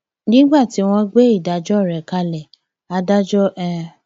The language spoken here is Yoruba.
nígbà tó ń gbé ìdájọ rẹ kalẹ adájọ h